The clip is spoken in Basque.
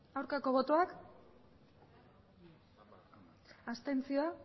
aurkako botoak abstentzioak